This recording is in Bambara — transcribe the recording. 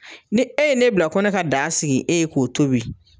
Ni e ye ne bila ko ne ka daga sigi e ye k'o tobi